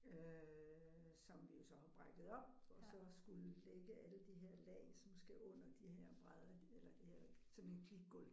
Øh som vi jo så har brækket op og så skulle lægge alle de her lag som skal under de her brædder eller det her sådan et klikgulv